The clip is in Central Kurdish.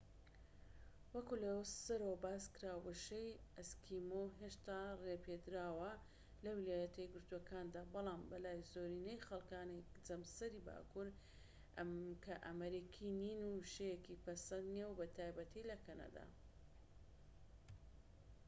وەکو لە سەرەوە باسکرا وشەی ئەسکیمۆ هێشتا ڕێپێدراوە لە ویلایەتەیەکگرتوەکاندا بەڵام بەلای زۆرینەی خەلکانی جەمسەری باكوور کە ئەمریکی نین وشەیەکی پەسەند نیە بەتایبەتی لە کەنەدا